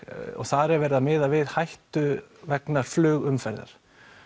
og þar er verið að miða við hættu vegna flugumferðar